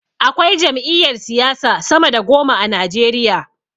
Akwai jam'iyar siyasa sama da goma a najeriya